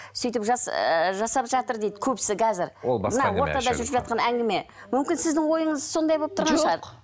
сөйтіп жас ыыы жасап жатыр дейді көбісі қазір мына ортада жүріп жатқан әңгіме мүмкін сіздің ойыңыз сондай болып тұрған шығар жоқ